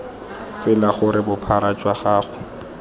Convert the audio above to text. tsela gore bophara jwa kago